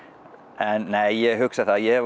en nei ég hugsa það ég